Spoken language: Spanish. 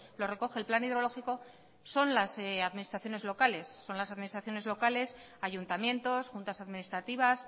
lo recoge el plan hidrológico son las administraciones locales son las administraciones locales ayuntamientos juntas administrativas